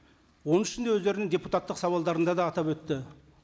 оның ішінде өздерінің депутаттық сауалдарында да атап өтті